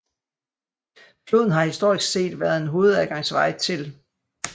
Floden har historisk set været en hovedadgangsvej til